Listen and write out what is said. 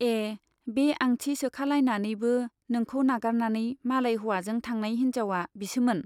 ए बे आंथि सोखालायनानैबो नोंखौ नागारनानै मालाय हौवाजों थांनाय हिन्जाउवा बिसोमोन ?